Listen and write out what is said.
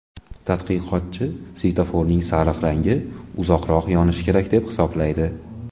Tadqiqotchi svetoforning sariq rangi uzoqroq yonishi kerak deb hisoblaydi.